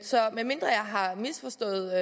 så medmindre jeg har misforstået